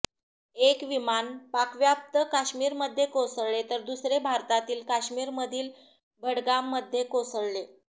एक विमान पाकव्याप्त काश्मीरमध्ये कोसळले तर दुसरे भारतातील काश्मीरमधील बडगाममध्ये कोसळले